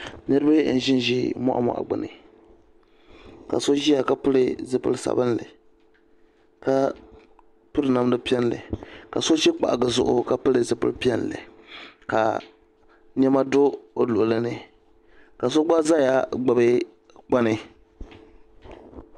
Niriba n zi n zi mɔɣumɔɣu ka so ziya ka pili zupili sabinli ka piri namda piɛlli ka so zi kpahigi zuɣu ka pili zupili piɛlli ka nɛma do o luɣuli ni ka so gba zaya gbubi kpani.